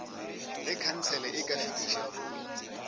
ge khansele e ka fetiša